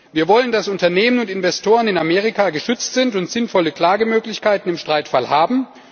Wir wollen, dass Unternehmen und Investoren in Amerika geschützt sind und sinnvolle Klagemöglichkeiten im Streitfall haben.